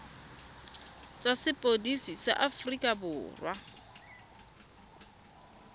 tsa sepodisi sa aforika borwa